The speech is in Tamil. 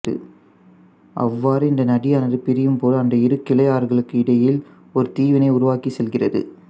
அவ்வாறு இந்த நதியானது பிரியும் போது அந்த இரு கிளையாறுகளுக்கு இடையில் ஒரு தீவினை உருவாக்கிச் செல்கிறது